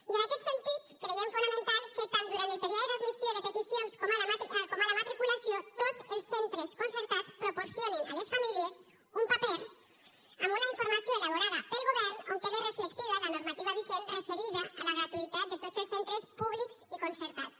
i en aquest sentit creiem fonamental que tant durant el període d’admissió de peticions com a la matriculació tots els centres concertats proporcionin a les famílies un paper amb una informació elaborada pel govern on quede reflectida la normativa vigent referida a la gratuïtat de tots els centres públics i concertats